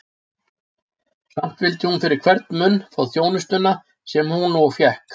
Samt vildi hún fyrir hvern mun fá þjónustuna, sem hún og fékk.